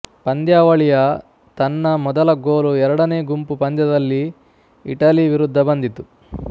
ಪಂದ್ಯಾವಳಿಯ ತನ್ನ ಮೊದಲ ಗೋಲು ಎರಡನೇ ಗುಂಪು ಪಂದ್ಯದಲ್ಲಿ ಇಟಲಿ ವಿರುದ್ಧ ಬಂದಿತು